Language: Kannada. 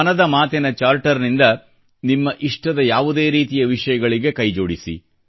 ಮನದ ಮಾತಿನ ಚಾರ್ಟರ್ನಿಂದ ನಿಮ್ಮ ಇಷ್ಟದ ಯಾವುದೇ ರೀತಿಯ ವಿಷಯಗಳಿಗೆ ಕೈಜೋಡಿಸಿ